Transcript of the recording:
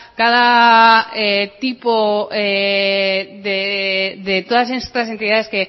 cada tipo de todas estas entidades